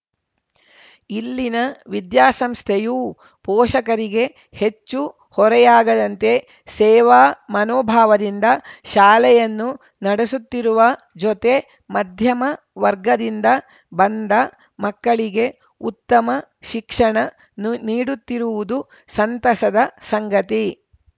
ಇಲ್ಲಿನ ವಿದ್ಯಾಸಂಸ್ಥೆಯೂ ಪೋಷಕರಿಗೆ ಹೆಚ್ಚು ಹೊರೆಯಾಗದಂತೆ ಸೇವಾ ಮನೋಭಾವದಿಂದ ಶಾಲೆಯನ್ನು ನಡೆಸುತ್ತಿರುವ ಜೊತೆ ಮಧ್ಯಮ ವರ್ಗದಿಂದ ಬಂದ ಮಕ್ಕಳಿಗೆ ಉತ್ತಮ ಶಿಕ್ಷಣ ನು ನೀಡುತ್ತಿರುವುದು ಸಂತಸದ ಸಂಗತಿ